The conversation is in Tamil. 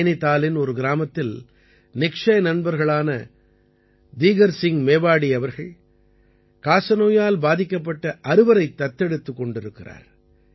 நைநிதாலின் ஒரு கிராமத்தில் நிக்ஷய் நண்பர்களான தீகர் சிங் மேவாடி அவர்கள் காசநோயால் பாதிக்கப்பட்ட அறுவரைத் தத்தெடுத்துக் கொண்டிருக்கிறார்